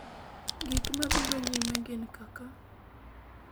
gik mabiro nyime gin kaka